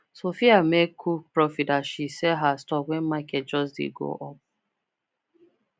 sophia make cool profit as she sell her stock when market just dey go up